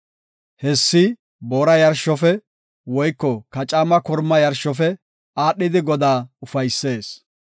Hessi boora yarshofe, woyko kacaama korma yarshofe, aadhidi, Godaa ufaysees.